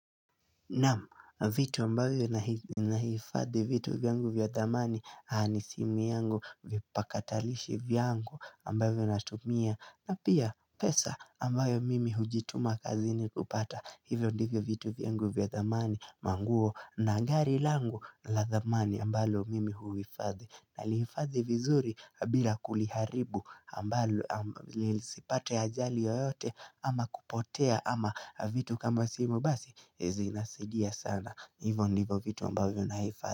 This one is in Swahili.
Naam, vitu ambayo na hifadhi vitu vyangu vya thaamani, aani simu yangu, vipakatalishi vyangu ambayo natumia, na pia pesa ambayo mimi hujituma kazi ni kupata, hivyo ndivyo vitu vyangu vya thamani, manguo na ngari langu la zamani ambayo mimi huifadhi. Nalifazi vizuri bila kuliharibu ambalo lisipate ajari yoyote ama kupotea ama vitu kama simu basi Ezi nasidia sana Hivo nivo vitu ambavyo naifazi.